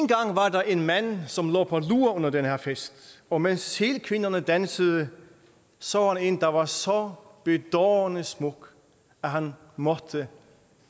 der en mand som lå på lur under den her fest og mens sælkvinderne dansede så han en der var så bedårende smuk at han måtte